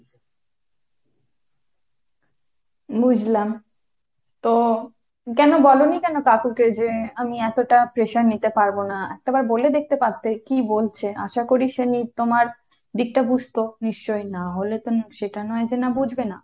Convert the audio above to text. বুঝলাম। তো কেন বলনি কেন কাকুকে যে আমি এতটা pressure নিতে পারব না। একটা বার বলে দেখতে পারতে কী বলছে, আশা করি সিনি তোমার দিকটা বুঝতো নিশ্চয়ই। না হলে তো সেটা নয় যে না বুঝবে না।